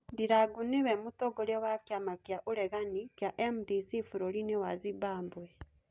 Ndirango nĩwĩ mũtongorĩa wa kiama kĩa ũregani kĩa MDC bũrũrinĩ was Zimbambwe